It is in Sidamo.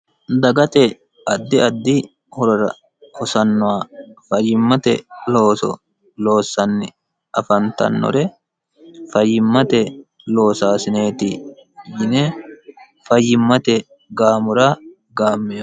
dagate addi addi horora hosannoha fayyimmate looso loossanni afantannore fayyimmate loosaasineeti yine fayyimmate gaamora gaammemo